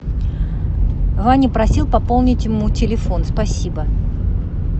ваня просил пополнить ему телефон спасибо